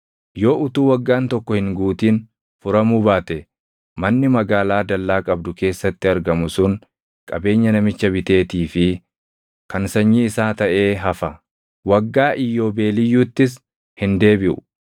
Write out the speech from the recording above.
Yoo utuu waggaan tokko hin guutin furamuu baate manni magaalaa dallaa qabdu keessatti argamu sun qabeenya namicha biteetii fi kan sanyii isaa taʼee hafa. Waggaa Iyyoobeeliyyuuttis hin deebiʼu.